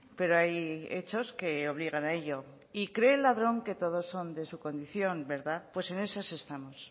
pero hay hechos que obligan a ello y cree el ladrón que todos son de su condición verdad pues en esas estamos